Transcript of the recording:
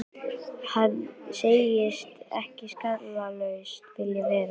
Hann segist ekki skallalaus vilja vera.